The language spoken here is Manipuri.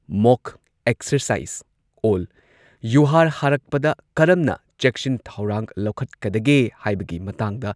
ꯃꯣꯛ ꯑꯦꯛꯁꯔꯁꯥꯏꯖ ꯑꯣꯜ ꯌꯨꯍꯥꯔ ꯍꯥꯔꯛꯄꯗ ꯀꯔꯝꯅ ꯆꯦꯛꯁꯤꯟ ꯊꯧꯔꯥꯡ ꯂꯧꯈꯠꯀꯗꯒꯦ ꯍꯥꯢꯕꯒꯤ ꯃꯇꯥꯡꯗ